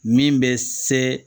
Min bɛ se